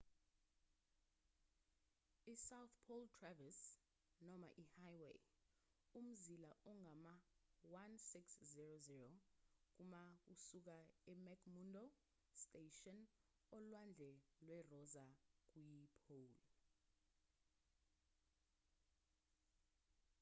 isouth pole traverse noma ihighway umzila ongama-1600 kma kusuka emcmurdo station olwandle lwerosa kuyipole